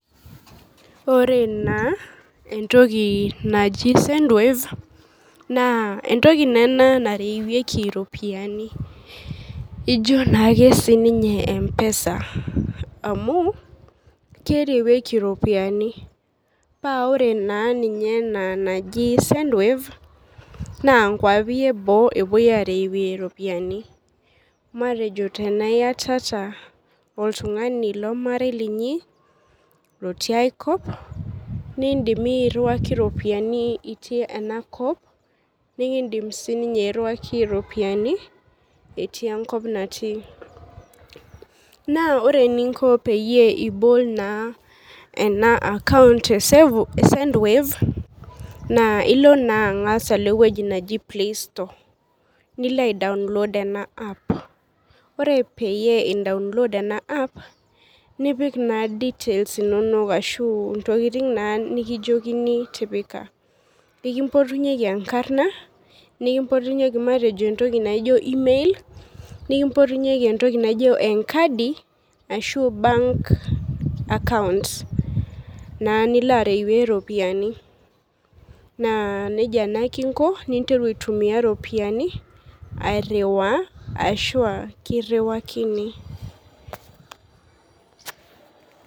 Ore naa entoki naji sendwave naa entoki naa ena narewieki iropiani ijo naake sininye mpesa amu kerewieki iropiani paa ore naa ninye ena naji sendwave naa nkuapi eboo epuoi arewie iropiani matejo tenaa iyatata oltung'ani lomarei linyi lotii aekop nindimi iyie airriwaki iropiani itii enakop nikindim sininye airriwaki iropiani etii enkop natii naa ore eninko peyie ibol naa ena account e sendwave naa ilo naa ang'as alo ewueji neji playstore nilo ae download ena ppa ore peyie indaonlod ena app nipik naa details inonok ashu intokiting naa nikijiokini tipika nikimpotunyieki enkarrna nikimpotunyieki matejo entoki naijo email nikimpotunyieki entoki naijo enkadi ashu bank accounts naa nilo arewie iropiani naa neji naake inko ninteru aitumia iropiani airriwaa ashua kirriwakini.